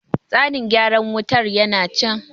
tsanin gyaran wutar yana can